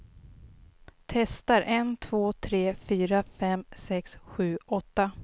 Testar en två tre fyra fem sex sju åtta.